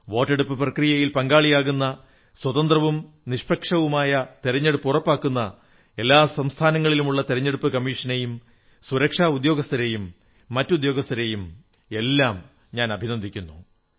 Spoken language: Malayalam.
വോട്ടെടുപ്പു പ്രക്രിയയിൽ പങ്കാളികളാകുന്ന സ്വതന്ത്രവും നിഷ്പക്ഷവുമായ തിരഞ്ഞെടുപ്പുറപ്പാക്കുന്ന എല്ലാ സംസ്ഥാനങ്ങളിലുമുള്ള തിരഞ്ഞെടുപ്പു കമ്മീഷനെയും സുരക്ഷാ ഉദ്യോഗസ്ഥരെയും മറ്റുദ്യോഗസ്ഥരെയുമെല്ലാം അഭിന്ദിക്കുന്നു